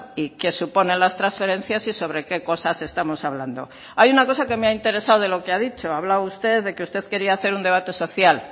y que supone las transferencias y sobre qué cosas estamos hablando hay una cosa que me ha interesado de lo que ha dicho ha hablado usted de que usted quería hacer un debate social